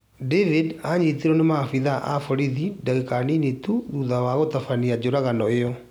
David nĩanyitirwo nĩ maabithaa a borithi ndagĩka nini tu thutha wa gũtabania njũragano ĩyo